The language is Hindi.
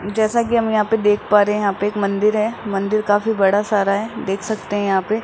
जैसा कि हम यहां पे देख पा रहे है यहां पे एक मंदिर है मंदिर काफी बड़ा सारा है देख सकते है यहां पे --